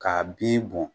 K'a bin bɔn